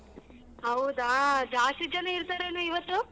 ಹೌದಾ ಜಾಸ್ತಿ ಜನ ಇರ್ತಾರೇನೆ ಇವತ್ತು?